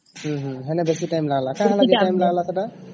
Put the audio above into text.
ଉମ ହଁ ସେଥି ବେଶୀ ଟାଇମ ଲାଗିଲା କଣ ଲାଗିଲା ବେଶୀ ଟାଇମ ସେଟା